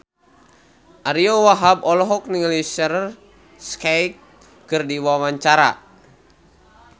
Ariyo Wahab olohok ningali Shaheer Sheikh keur diwawancara